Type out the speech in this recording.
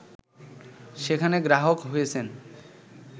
সেখানে গ্রাহক হয়েছেন